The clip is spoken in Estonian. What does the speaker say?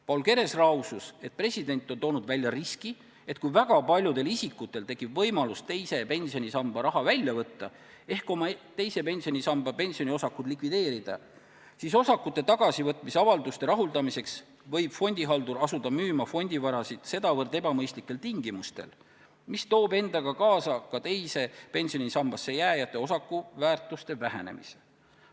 Paul Keres lausus, et president on toonud välja riski, et kui väga paljudel isikutel tekib võimalus teise pensionisamba raha välja võtta ehk oma teise pensionisamba osakud likvideerida, siis osakute tagasivõtmise avalduste rahuldamiseks võib fondihaldur asuda fondivarasid müüma sedavõrd ebamõistlikel tingimustel, et see toob endaga kaasa teise pensionisambasse jääjate osakute väärtuse vähenemise.